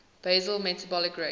basal metabolic rate